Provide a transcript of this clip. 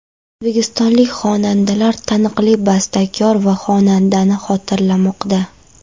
O‘zbekistonlik xonandalar taniqli bastakor va xonandani xotirlamoqda.